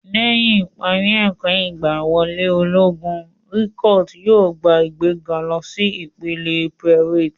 Lẹ́yìn ìparí ẹ̀kọ́ ìgbàwọlé ológun, recuit yóò gba ìgbéga lọ sí ìpele private.